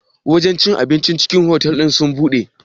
Wajen cin abincin cikin otal ɗinnan sun buɗe?